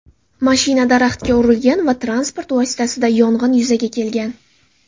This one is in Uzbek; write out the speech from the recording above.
Mashina daraxtga urilgan va transport vositasida yong‘in yuzaga kelgan.